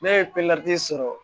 Ne ye sɔrɔ